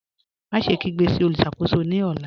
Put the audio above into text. Máṣẹ̀ kígbe sí olùṣakò̩só̩ ní ọ̀là.